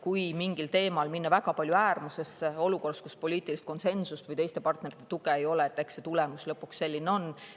Kui mingil teemal minna väga palju äärmusesse olukorras, kus poliitilist konsensust või teiste partnerite tuge ei ole, siis eks see tulemus lõpuks selline on.